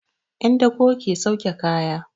'Yan dako ke sauke kaya.